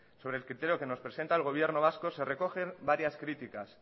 sobre el criterio que nos presenta el gobierno vasco se recogen varias críticas